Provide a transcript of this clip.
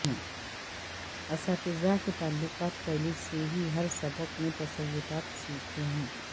اساتذہ کے تعلقات پہلے سے ہی ہر سبق میں تصورات سیکھے ہیں